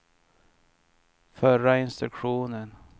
förra instruktion